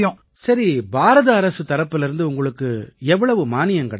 சரி பாரத அரசு தரப்பிலேர்ந்து உங்களுக்கு எவ்வளவு மானியம் கிடைச்சுது